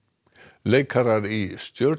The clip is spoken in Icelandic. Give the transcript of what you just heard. leikarar í